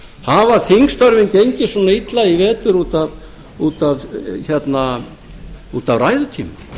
hafa þingstörfin gengið svona illa í vetur út af ræðutíma